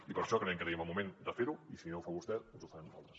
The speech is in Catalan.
i per això creiem que és el moment de fer ho i si no ho fa vostè doncs ho farem nosaltres